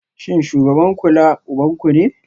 Shin shugaban kula ubanku ne?